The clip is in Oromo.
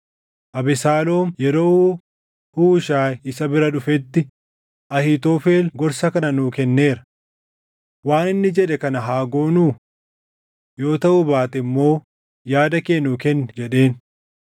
Abesaaloom yeroo Huushaayi isa bira dhufetti, “Ahiitofel gorsa kana nuu kenneera. Waan inni jedhe kana haa goonuu? Yoo taʼuu baate immoo yaada kee nuu kenni” jedheen.